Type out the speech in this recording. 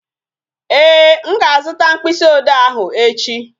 Ee, m ga-azuta mkpịsị ode ahụ echi